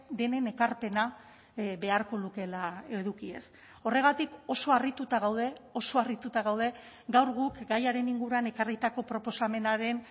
denen ekarpena beharko lukeela edukiez horregatik oso harrituta gaude oso harrituta gaude gaur guk gaiaren inguruan ekarritako proposamenaren